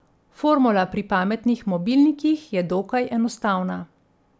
Formula pri pametnih mobilnikih je dokaj enostavna.